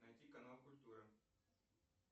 найти канал культура